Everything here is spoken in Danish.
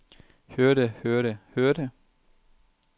hørte hørte hørte